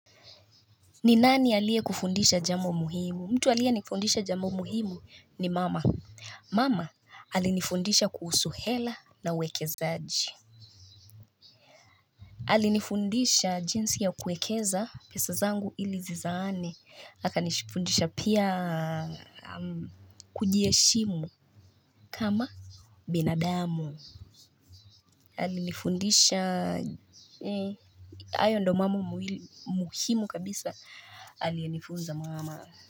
Ni nani aliyekufundisha jambo muhimu? Mtu aliyenifundisha jambo muhimu ni mama. Mama alinifundisha kuhusu hela na uwekezaji. Alinifundisha jinsi ya kuwekeza pesa zangu ili zizaane akanifundisha pia kujiheshimu kama binadamu alinifundisha hayo ndiyo mambo muhimu kabisa alinifunza mama.